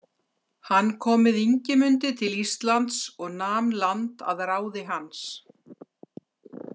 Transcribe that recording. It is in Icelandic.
Hann kom með Ingimundi til Íslands og nam land að ráði hans.